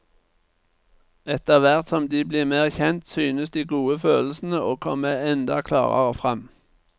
Etterhvert som de blir mer kjent synes de gode følelsene å komme enda klarere fram.